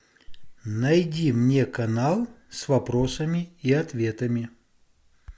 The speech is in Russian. найди мне канал с вопросами и ответами